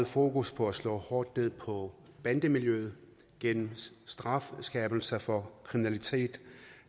fokus på at slå hårdt ned på bandemiljøet gennem strafskærpelse for kriminalitet